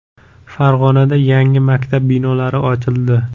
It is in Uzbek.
Farg‘onada yangi maktab binolari ochildi .